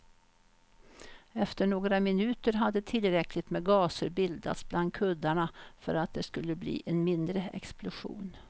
Efter några minuter hade tillräckligt med gaser bildats bland kuddarna för att det skulle bli en mindre explosion.